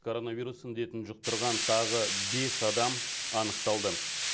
коронавирус індетін жұқтырған тағы бес адам анықталды